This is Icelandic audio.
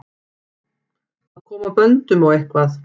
Að koma böndum á eitthvað